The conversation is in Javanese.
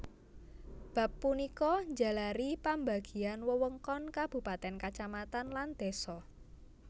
Bab punika njalari pambagian wewengkon kabupatèn kacamatan lan désa